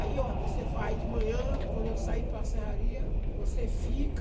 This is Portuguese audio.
Aí, ó, você vai de manhã, quando eu sair para a serraria, você fica...